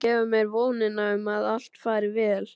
Þau gefa mér vonina um að allt fari vel.